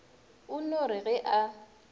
o no re ge a